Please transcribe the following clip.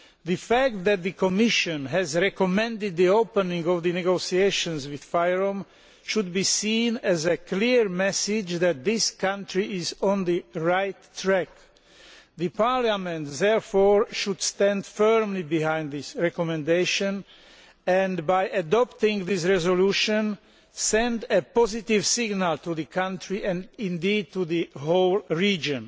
The fact that the Commission has recommended the opening of negotiations with FYROM should be seen as a clear message that this country is on the right track. Parliament should therefore stand firmly behind this recommendation and, by adopting this resolution, send a positive signal to the country and indeed the whole region.